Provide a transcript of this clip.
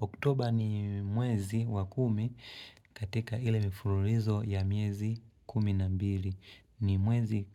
Oktober ni mwezi wa kumi katika ile mfululizo ya miezi kumi na mbili. Ni mwezi